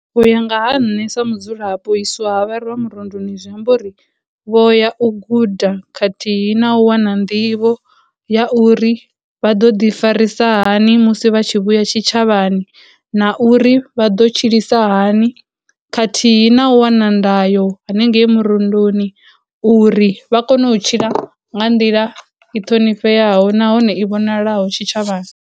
U ya nga ha nṋe sa mudzulapo u iswa vharwa murunduni zwiamba uri vho ya u guda khathihi na u wana nḓivho ya uri vha ḓo ḓi farisa hani musi vha tshi vhuya tshitshavhani, na uri vha ḓo tshilisa hani, khathihi na u wana ndayo hanengei murunduni uri vha kone u tshila nga nḓila i ṱhonifheaho nahone i vhonalaho tshitshavhani.